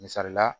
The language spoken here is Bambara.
Misali la